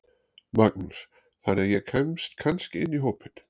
Magnús: Þannig að ég kemst kannski inn í hópinn?